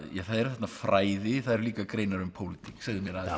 eru þarna fræði það eru líka greinar um pólitík segðu mér aðeins